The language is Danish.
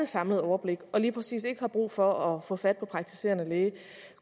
samlet overblik og lige præcis ikke har brug for at få fat på den praktiserende læge